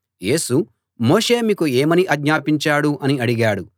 యేసు మోషే మీకు ఏమని ఆజ్ఞాపించాడు అని అడిగాడు